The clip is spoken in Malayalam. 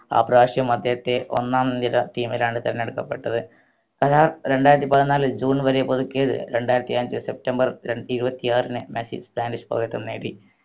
ആ പ്രാശം അദ്ദേഹത്തെ ഒന്നാം നിര team ലാണ് തിരഞ്ഞെടുക്കപ്പെട്ടത് ആഹ് രണ്ടായിരത്തി പതിനാലിൽ ജൂൺ വരെ പുതുക്കിയത് രണ്ടായിരത്തി അഞ്ചു സെപ്റ്റംബർ ഇരുപത്തിയാറിന് മെസ്സി spanish പൗരത്വം നേടി